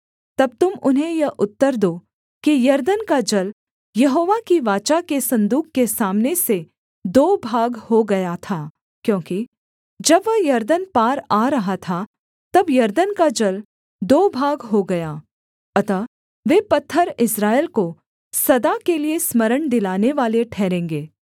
तब तुम उन्हें यह उत्तर दो कि यरदन का जल यहोवा की वाचा के सन्दूक के सामने से दो भाग हो गया था क्योंकि जब वह यरदन पार आ रहा था तब यरदन का जल दो भाग हो गया अतः वे पत्थर इस्राएल को सदा के लिये स्मरण दिलानेवाले ठहरेंगे